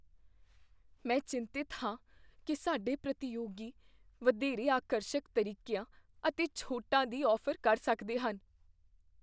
ਮੈਂ ਚਿੰਤਤ ਹਾਂ ਕੀ ਸਾਡੇ ਪ੍ਰਤੀਯੋਗੀ ਵਧੇਰੇ ਆਕਰਸ਼ਕ ਤਰੱਕੀਆਂ ਅਤੇ ਛੋਟਾਂ ਦੀ ਔਫ਼ਰ ਕਰ ਸਕਦੇ ਹਨ।